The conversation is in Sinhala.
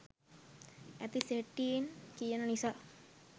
ඇති සැටියෙන් කියන නිසා.